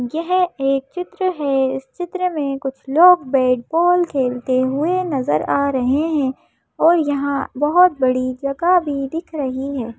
यह एक चित्र है इस चित्र में कुछ लोग बैट बॉल खेलते हुए नजर आ रहे हैं और यहां बहुत बड़ी जगह भी दिख रही है।